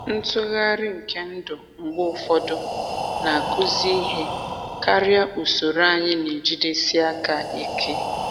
Ntughari nke ndụ mgbe ụfọdụ na-akụzi ihe karịa usoro anyị na-ejidesi aka ike.